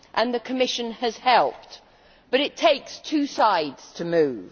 The Commission has helped, but it takes two sides to move.